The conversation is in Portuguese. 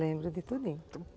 Lembro de tudinho.